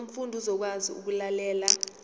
umfundi uzokwazi ukulalela